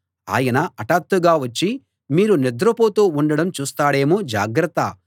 ఆయన హఠాత్తుగా వచ్చి మీరు నిద్రపోతూ ఉండడం చూస్తాడేమో జాగ్రత్త